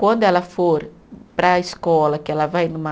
Quando ela for para a escola, que ela vai numa